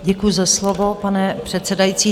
Děkuji za slovo, pane předsedající.